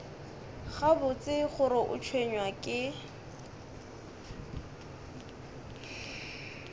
gabotse gore o tshwenywa ke